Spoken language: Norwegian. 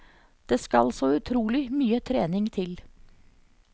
Det skal så utrolig mye trening til.